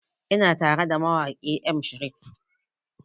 Ina tara da mawaƙi M Sharif